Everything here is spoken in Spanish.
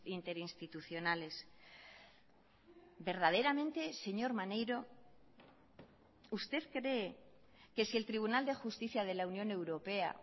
interinstitucionales verdaderamente señor maneiro usted cree que si el tribunal de justicia de la unión europea